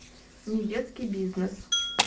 недетский бизнес